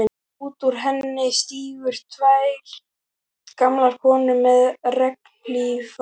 Út úr henni stigu tvær gamlar konur með regnhlífar.